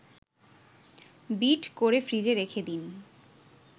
bit করে ফ্রিজে রেখে দিন